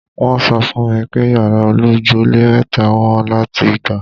Wọ́n sọ fún mi pé yàrá olójúlé mẹ́ta wọ́n láti gbà.